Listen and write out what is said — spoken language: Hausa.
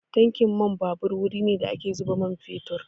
Tankin man babur wuri ne da ake zuba man fetur.